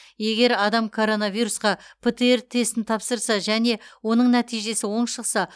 егер адам коронавирусқа птр тестін тапсырса және оның нәтижесі оң шықса